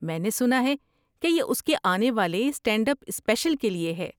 میں نے سنا ہے کہ یہ اس کے آنے والے اسٹینڈ اپ اسپیشل کے لیے ہے۔